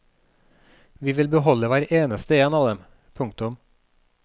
Vi vil beholde hver eneste en av dem. punktum